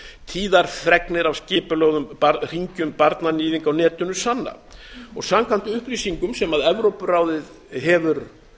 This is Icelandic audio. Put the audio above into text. tíðar fregnir af skipulögðum hringjum barnaníðinga á netinu sanna samkvæmt upplýsingum sem evrópuráðið hefur